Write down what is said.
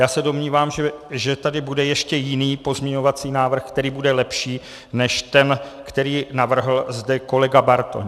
Já se domnívám, že tady bude ještě jiný pozměňovací návrh, který bude lepší než ten, který navrhl zde kolega Bartoň.